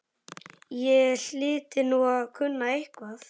Ég hlyti nú að kunna eitthvað.